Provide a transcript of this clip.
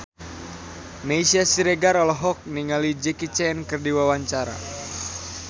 Meisya Siregar olohok ningali Jackie Chan keur diwawancara